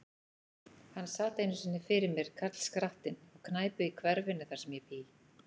Hann sat einu sinni fyrir mér, karlskrattinn, á knæpu í hverfinu, þar sem ég bý.